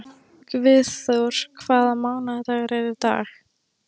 Guðþór, hvaða mánaðardagur er í dag?